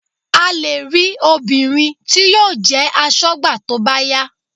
A lè rí obìnrin tí yóò jẹ́ aṣọ́gbà tó bá yá